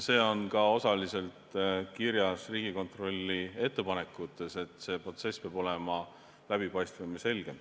See on ka osaliselt kirjas Riigikontrolli ettepanekutes, et see protsess peab olema läbipaistvam ja selgem.